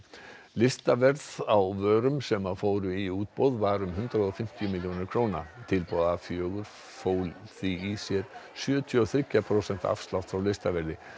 listaverð á vörum sem fóru í útboð var um hundrað og fimmtíu milljónir króna tilboð a fjórar fól því í sér sjötíu og þriggja prósenta afslátt frá listaverði